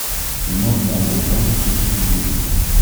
кино дабл трабл хочу смотреть сейчас